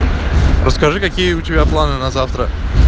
расскажи какие у тебя планы на завтра